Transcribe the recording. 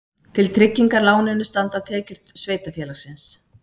Til tryggingar láninu standa tekjur sveitarfélagsins